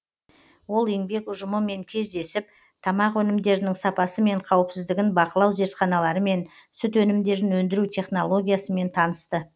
ол еңбек ұжымымен кездесіп тамақ өнімдерінің сапасы мен қауіпсіздігін бақылау зертханаларымен сүт өнімдерін өндіру технологиясымен танысты